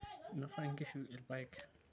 Einosa nkishu ilpaek.